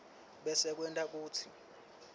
bese kwenta kutsi